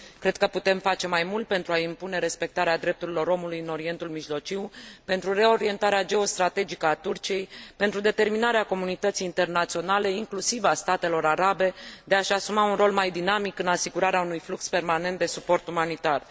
Cred că putem face mai mult pentru a impune respectarea drepturilor omului în Orientul Mijlociu, pentru reorientarea geostrategică a Turciei, pentru determinarea comunității internaționale, inclusiv a statelor arabe, de a și asuma un rol mai dinamic în asigurarea unui flux permanent de suport umanitar.